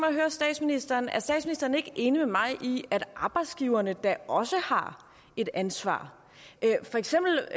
at høre statsministeren er statsministeren ikke enig med mig i at arbejdsgiverne da også har et ansvar for eksempel